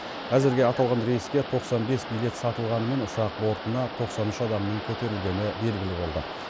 әзірге аталған рейске тоқсан бес билет сатылғанымен ұшақ бортына тоқсан үш адамның көтерілгені белгілі болды